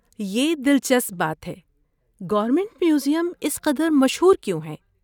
یہ دلچسپ بات ہے۔ گورنمنٹ میوزیم اس قدر مشہور کیوں ہے؟